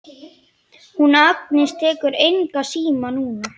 Hún Agnes tekur engan síma núna.